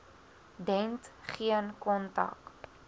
dent geen kontak